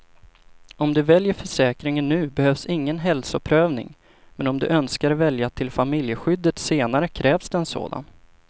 Om du väljer försäkringen nu behövs ingen hälsoprövning, men om du önskar välja till familjeskyddet senare krävs det en sådan.